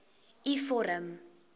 u vorm